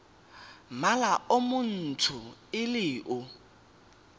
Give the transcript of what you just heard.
mmala o montsho le o